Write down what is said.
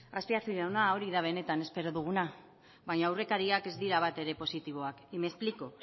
azpiazu jauna hori da benetan espero duguna baina aurrekariak ez dira batere positiboak y me explico